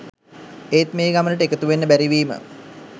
ඒත් මේ ගමනට එකතුවෙන්න බැරිවීම